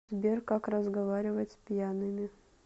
сбер как разговаривать с пьяными